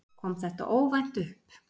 Kom þetta óvænt upp?